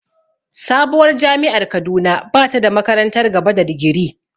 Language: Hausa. Sabuwar jami’ar Kaduna ba ta da makarantar gaba da digiri.